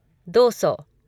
दो सौ